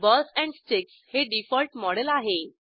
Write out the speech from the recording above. balls and sticks हे default model आहे